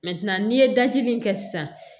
n'i ye dajigin in kɛ sisan